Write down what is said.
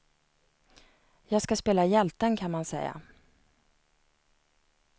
Jag ska spela hjälten kan man säga.